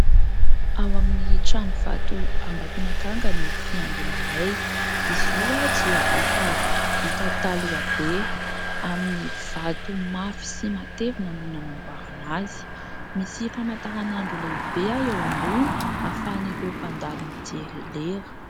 Ao amin'ny Tranovato Ambatonakanga no fiangonanay. Izy io dia efa vita taloha be. Amin'ny vato mafy sy matevina no nanamboarana azy. Misy famantaranandro lehibe eo ambony ahafahan'ireo mpandalo mijery lera.